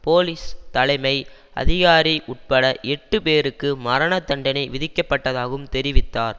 police தலைமை அதிகாரி உட்பட எட்டு பேருக்கு மரண தண்டனை விதிக்கப்பட்டதாகவும் தெரிவித்தார்